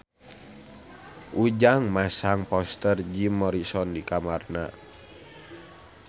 Ujang masang poster Jim Morrison di kamarna